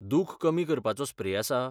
दुख कमी करपाचो स्प्रे आसा?